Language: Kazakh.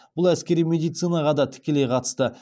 бұл әскери медицинаға да тікелей қатысты